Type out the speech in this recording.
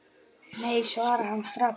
Nei svarar hann strax.